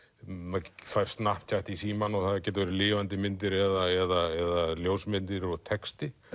Snaptjatt fær í símann og það getur verið lifandi myndir eða ljósmyndir og texti